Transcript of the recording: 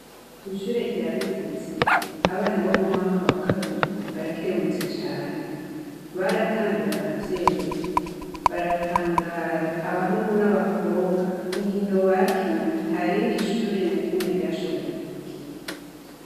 Kw'ishure rya bitezi abana bo mu mwaka wa kabiri barakeruurutse cane baratambiye abavyeyi baratangara abahungu n'abakobwa inkino bakinye nta rindi ishuri na rimwe ryashoboye ku bikinya.